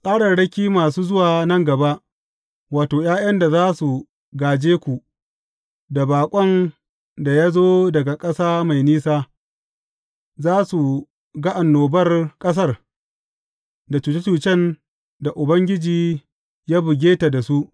Tsararraki masu zuwa nan gaba, wato, ’ya’yan da za su gāje ku, da baƙon da ya zo daga ƙasa mai nisa, za su ga annobar ƙasar, da cuce cucen da Ubangiji ya buge ta da su.